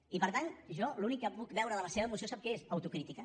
i per tant jo l’únic que puc veure de la seva moció sap què és autocrítica